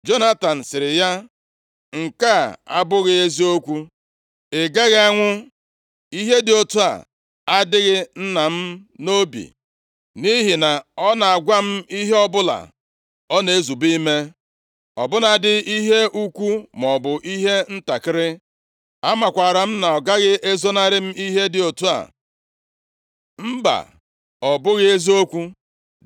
Jonatan sịrị ya, “Nke a abụghị eziokwu. Ị gaghị anwụ! Ihe dị otu a adịghị nna m nʼobi, nʼihi na ọ na-agwa m ihe ọbụla ọ na-ezube ime, ọ bụladị ihe ukwu maọbụ ihe ntakịrị. Amakwaara m na ọ gaghị ezonarị m ihe dị otu a. Mba, ọ bụghị eziokwu.”